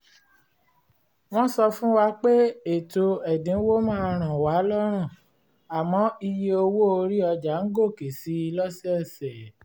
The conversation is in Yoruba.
wọ́n sọ fún wa pé ètò ẹ̀dínwó máa ràn wá lọ́rùn àmọ́ iye owó orí ọjà ń gòkè si lọ́sọ̀ọ̀sẹ̀